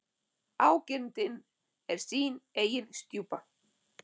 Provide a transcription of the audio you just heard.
Ágirndin er sín eigin stjúpa.